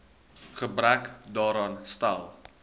gebrek daaraan stel